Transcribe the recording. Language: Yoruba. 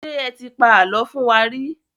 Ṣé ẹ ti pa àlọ́ fún wa rí?